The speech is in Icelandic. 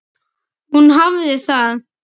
Hún hafði það.